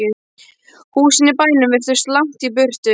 Húsin í bænum virtust langt í burtu.